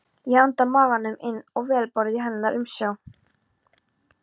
Ég anda maganum inn og vel borð í hennar umsjá.